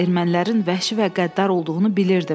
Ermənilərin vəhşi və qəddar olduğunu bilirdim.